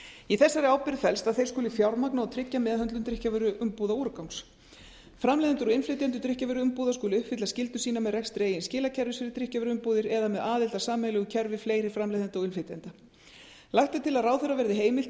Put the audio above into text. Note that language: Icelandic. í þessari ábyrgð felst að þeir skuli fjármagna og tryggja meðhöndlun drykkjarvöruumbúðaúrgangs framleiðendur og innflytjendur drykkjarvöruumbúða skulu uppfylla skyldur sínar með rekstri eigin skilakerfis fyrir drykkjarvöruumbúðir eða með aðild að sameiginlegu kerfi fleiri framleiðenda og innflytjenda lagt er til að ráðherra verði heimilt í